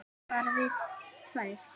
Bara við tvær.